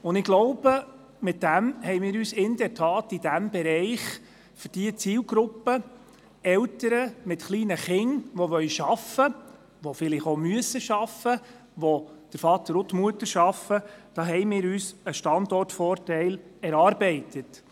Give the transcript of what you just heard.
Wie ich glaube, haben wir uns damit in der Tat in diesem Bereich für die Zielgruppe Eltern, die arbeiten wollen oder müssen und kleine Kinder haben, bei denen Vater und Mutter arbeiten, tatsächlich einen Standortvorteil erarbeitet.